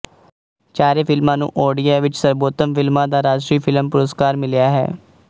ਚਾਰੇ ਫ਼ਿਲਮਾਂ ਨੂੰ ਓਡੀਆ ਵਿੱਚ ਸਰਬੋਤਮ ਫ਼ਿਲਮਾਂ ਦਾ ਰਾਸ਼ਟਰੀ ਫ਼ਿਲਮ ਪੁਰਸਕਾਰ ਮਿਲਿਆ ਹੈ